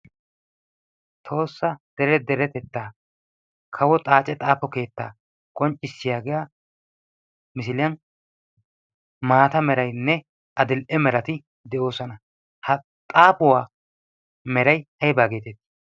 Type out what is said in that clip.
toossa dere deretettaa kawo xaace xaapo keettaa qonccissiyaagiya misiliyan maata merainne adil''e merati de'oosana ha xaafuwaa meray ayba geetettii